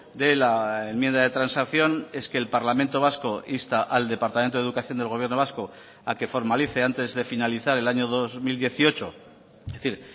de la enmienda de transacción es que el parlamento vasco insta al departamento de educación del gobierno vasco a que formalice antes de finalizar el año dos mil dieciocho es decir